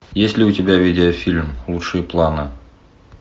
есть ли у тебя видеофильм лучшие планы